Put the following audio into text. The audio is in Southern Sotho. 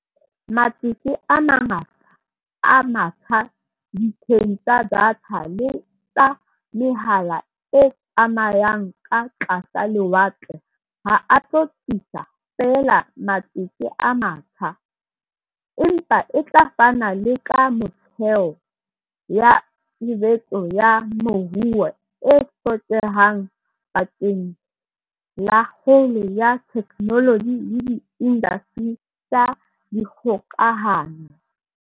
Matsete a mangata a matjha ditsheng tsa datha le tsa mehala e tsamayang ka tlasa lewatle ha a tlo tlisa feela matsete a matjha, empa a tla fana le ka metheo ya tshebetso ya moruo e hlokehang bakeng la kgolo ya theknoloji le diindasteri tsa dikgokahano.